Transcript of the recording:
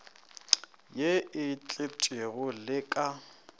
ye e tletpego le ka